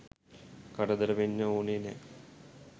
කරදර වෙන්න ඕනෙ නෑ.